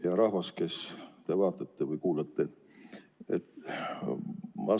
Hea rahvas, kes te vaatate või kuulate!